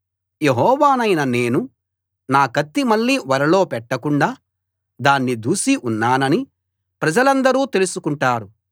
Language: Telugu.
యెహోవానైన నేను నా కత్తి మళ్ళీ ఒరలో పెట్టకుండా దాన్ని దూసి ఉన్నానని ప్రజలందరూ తెలుసుకుంటారు